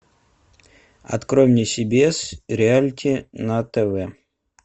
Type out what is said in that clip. открой мне си би эс реалити на тв